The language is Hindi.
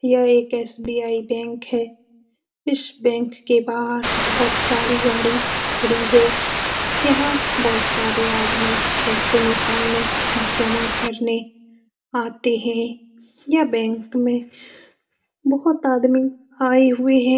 यह एक एस.बी.आई. बैंक हैं । इस बैंक के बाहर बहोत सारी गाड़ी खड़ी हैं । यहाँ बहोत सारे आदमी पैसे निकालने जमा करने आते है। यह बैंक में बहुत आदमी आए हुए हैं ।